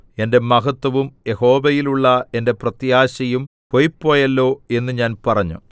എന്റെ മഹത്വവും യഹോവയിലുള്ള എന്റെ പ്രത്യാശയും പൊയ്പ്പോയല്ലോ എന്ന് ഞാൻ പറഞ്ഞു